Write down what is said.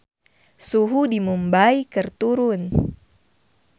Suhu di Mumbay keur turun